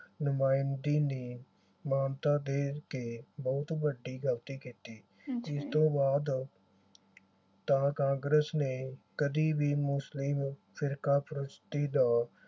ਨੁਮਾਇੰਦਗੀ ਨੇ ਮਾਨਤਾ ਦੇ ਕੇ ਬਹੁਤ ਵੱਡੀ ਗਲਤੀ ਕੀਤੀ। ਇਸ ਤੋਂ ਬਾਅਦ ਤਾਂ ਕਾਂਗਰਸ ਨੇ ਕਦੀ ਵੀ ਮੁਸਲਿਮ ਫਿਰਕਾਪ੍ਰਸਤੀ ਦਾ